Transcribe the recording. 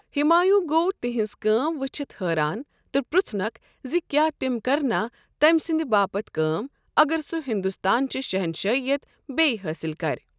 ہمایوٗں گوٚو تِہنز كٲم وچھِتھ حٲران تہٕ پرٕٛژُھنَکھ زِ کیٛاہ تِم كرنا تٔمۍ سٕنٛدِ باپت كٲم اگر سہ ہندوستانٕچہِ شہنشٲہیت بیٚیہ حٲصِل كر۔